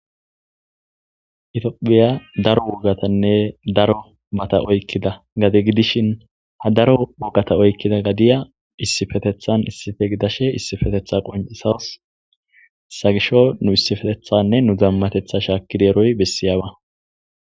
Ethophphiya daro urathanne daro matha oykkida nabe gidishin ha daro wogatha oykkida gadiya issipetheththan issipe gidashee issipetheththaa qonccissawus; etha gishshawu nu issipetheththaanne nu dummatheththaa shaakkidi eroy bessiyaaba.